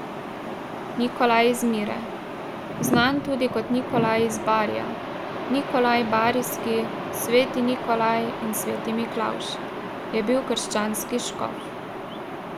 Nikolaj iz Mire, znan tudi kot Nikolaj iz Barija, Nikolaj Barijski, sveti Nikolaj in sveti Miklavž, je bil krščanski škof.